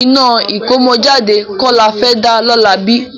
Iná ìkómọjáde kọ́ la fẹ́ dá lọ́la bí?